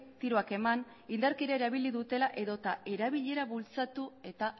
tiroak eman indarkeria erabili dutela edo eta erabilera bultzatu eta